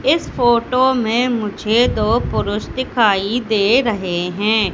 इस फोटो में मुझे दो पुरुष दिखाई दे रहे हैं।